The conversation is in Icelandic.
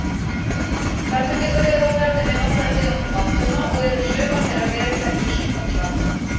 Þarna geta verið á ferðinni nokkrar tegundir bandorma og eru sumar þeirra vel þekktir sjúkdómsvaldar.